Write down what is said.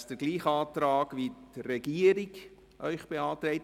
Damit entspricht der Antrag demjenigen der Regierung.